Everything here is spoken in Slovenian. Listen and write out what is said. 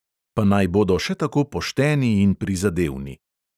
Pa naj bodo še tako pošteni in prizadevni.